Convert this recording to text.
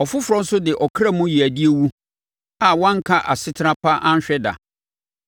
Ɔfoforɔ nso de ɔkra mu yeadie wu, a wanka asetena pa anhwɛ da.